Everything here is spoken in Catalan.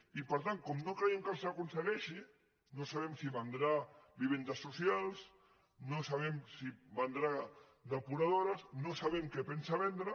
i per tant com que no creiem que els aconsegueixi no sabem si vendrà vivendes socials no sabem si vendrà depuradores no sabem què pensa vendre